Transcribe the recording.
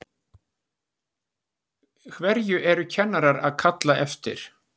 Hverju eru kennarar að kalla eftir?